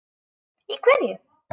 Í hverju?